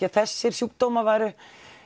að þessir sjúkdómar væru